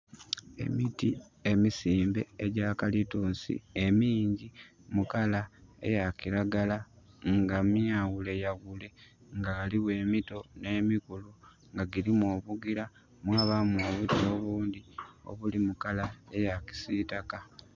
Emiti emisimbe egyakalitusi emingi mukala eya kilagala nga myaghule yaghule, nga ghaligho emito nemikulu nga dhilimu obugira mwabamu obuti obundhi obuli mukala eya kisitaka.